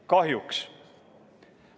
Kahjuks.